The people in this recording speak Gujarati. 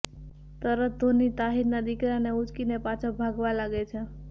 તરત ધોની તાહિરના દીકરાને ઉચકીને પાછો ભાગવા લાગે છે